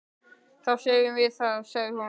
Þá segjum við það, sagði hún.